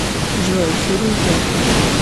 джой фильм пекло